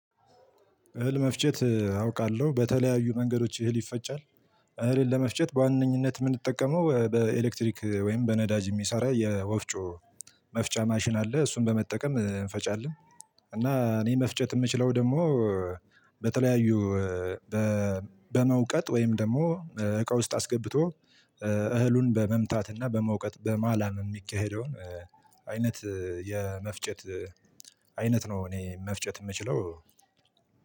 እህል መፍጨት አውቃለሁ በተለያዩ መንገዶች እህል ይፈጫል። እህልን ለመፍጨት በዋነኝነት የምንጠቀመው በኤሌክትሪክ ወይም በነዳጅ የሚሰራ ወፍጮን መፍጫ ማሽን አለ እሱን በመጠቀም እንፈጫለን። እና እኔ መፍጨት የምችለው ደግሞ በተለያዩ በመውቀጥ ወይም ደግሞ እቃ ውስጥ አስገብቶ እህሉን በመምታትና በመውቀጥ በማላም የሚካሄደውን አይነት የመፍጨት አይነት ነው። እኔ መፍጨት ምችለው